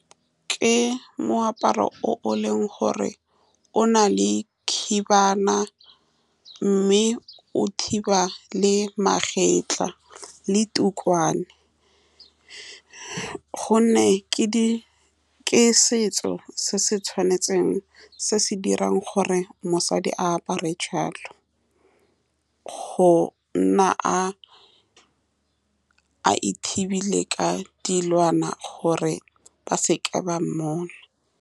Ke moaparo o e leng gore o na le khibana, mme o thiba le magetla le , ka gonne ke di, ke setso se se tshwanetseng, se se dirang gore mosadi a apare jalo, go nna a-a ithibile ka dilwana gore ba seke ba mmona.